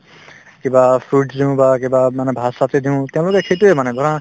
কিবা fruits দিও বা কিবা মানে ভাত-চাতে দিও তেওঁলোকে সেইটোয়ে মানে ধৰা